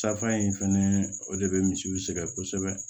Safan in fɛnɛ o de bɛ misiw sɛgɛn kosɛbɛ